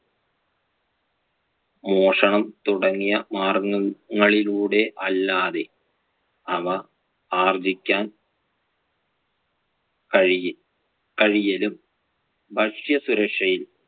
മോഷണം തുടങ്ങിയ മാര്‍ഗ്ഗങ്ങളിലൂടെ അല്ലാതെ അവ ആർജ്ജിക്കാൻ കഴിയ~ കഴിയും ഭക്ഷ്യസുരക്ഷയിൽ